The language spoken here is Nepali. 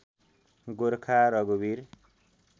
गोर्खा रघुवीर